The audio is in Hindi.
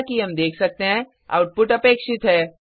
जैसा कि हम देख सकते हैं आउटपुट अपेक्षित है